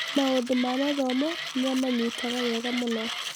Maũndũ ma mathomo nĩ amanyitaga wega mũno.